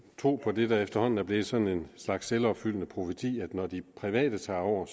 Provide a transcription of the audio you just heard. tro på det der efterhånden er blevet sådan en slags selvopfyldende profeti at når de private tager over